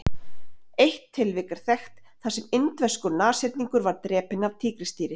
eitt tilvik er þekkt þar sem indverskur nashyrningur var drepinn af tígrisdýri